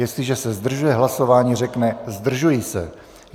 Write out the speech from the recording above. Jestliže se zdržuje hlasování, řekne "zdržuji se".